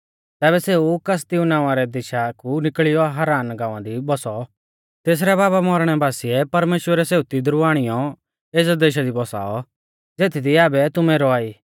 तैबै सेऊ कसदिऊ नावां रै देशा कु निकल़ियौ हारान गाँवा दी बौसौ तेसरै बाबा मौरणै बासिऐ परमेश्‍वरै सेऊ तिदरु आणियौ एज़ै देशा दी बौसाऔ ज़ेथदी आबै तुमै रौआ ई